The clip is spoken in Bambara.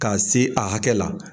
K'a se a hakɛ la.